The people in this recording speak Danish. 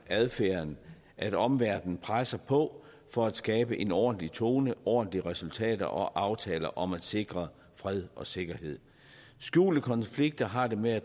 adfærden at omverdenen presser på for at skabe en ordentlig tone og ordentlige resultater og aftaler om at sikre fred og sikkerhed skjulte konflikter har det med at